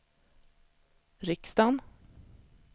riksdagen